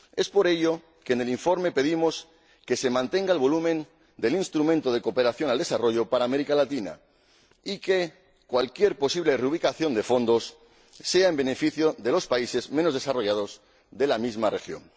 Por ello en el informe pedimos que se mantenga el volumen del Instrumento de Cooperación al Desarrollo para América Latina y que cualquier posible reubicación de fondos beneficie a los países menos desarrollados de la misma región.